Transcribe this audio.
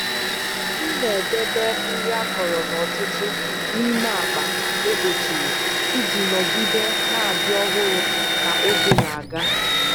M na-edebe nri akọrọ n’ọtụtù n’ime akpa e kpochiri iji nọgide na-adị ọhụrụ ka oge na-aga.